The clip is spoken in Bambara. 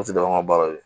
O tɛ dɔrɔn an ka baara